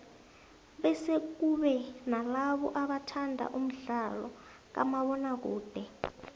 bese kube nalabo abathanda umdlalo kamabona kude